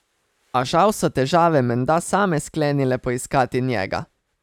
A žal so težave menda same sklenile poiskati njega.